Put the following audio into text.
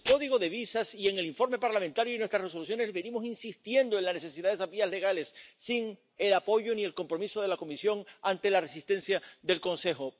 En el Código sobre visados, en el informe parlamentario y en nuestras resoluciones venimos insistiendo en la necesidad de esas vías legales sin el apoyo ni el compromiso de la Comisión ante la resistencia del Consejo.